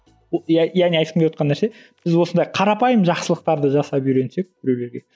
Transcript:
яғни айтқым келіп отырған нәрсе біз осындай қарапайым жақсылықтарды жасап үйренсек біреулерге